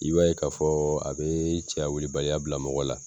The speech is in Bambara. I b'a ye k'a fɔ a bee cɛya wulibaliya bila mɔgɔ la